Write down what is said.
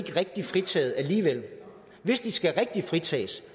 rigtig fritaget alligevel hvis de skal rigtig fritages